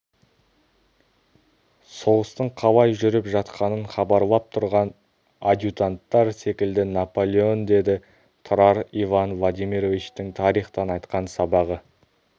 соғыстың қалай жүріп жатқанын хабарлап тұрған адъютанттар секілді наполеон деді тұрар иван владимировичтің тарихтан айтқан сабағы